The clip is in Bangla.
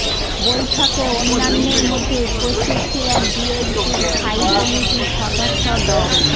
বৈঠকে অন্যান্যের মধ্যে উপস্থিত ছিলেন বিএনপির স্থায়ী কমিটির সদস্য ড